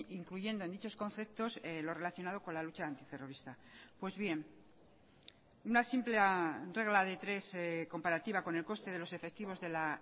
incluyendo en dichos conceptos lo relacionado con la lucha antiterrorista pues bien una simple regla de tres comparativa con el coste de los efectivos de la